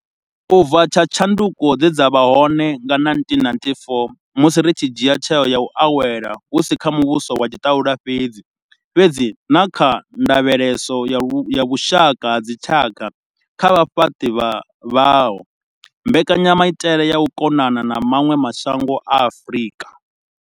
U bva tsha tshanduko dze dza vha hone nga 1994 musi ri tshi dzhia tsheo ya u awela hu si kha muvhuso wa tshiṱalula fhedzi, fhedzi na kha ndavheleso ya vhushaka ha dzitshaka kha vhafhaṱi vhaho, mbekanyamaitele ya u konana na vha maṅwe mashango ya Afrika.